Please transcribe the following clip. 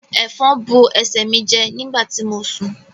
Efòn bu ẹsẹ mí jẹ nígbàtí mo sún